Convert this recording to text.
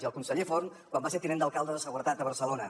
i el conseller font quan va ser tinent d’alcalde de seguretat a barcelona